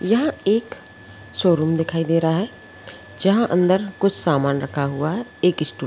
यह एक शोरूम दिखाई दे रहा है जहां अंदर कुछ सामान रखा हुआ है एक स्टू--